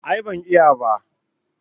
A'a ban iya ba